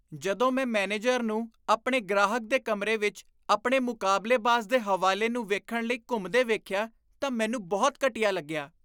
ਜਦੋਂ ਮੈਂ ਮੈਨੇਜਰ ਨੂੰ ਆਪਣੇ ਗ੍ਰਾਹਕ ਦੇ ਕਮਰੇ ਵਿੱਚ ਆਪਣੇ ਮੁਕਾਬਲੇਬਾਜ਼ ਦੇ ਹਵਾਲੇ ਨੂੰ ਵੇਖਣ ਲਈ ਘੁੰਮਦੇ ਵੇਖਿਆ ਤਾਂ ਮੈਨੂੰ ਬਹੁਤ ਘਟੀਆ ਲੱਗਿਆ।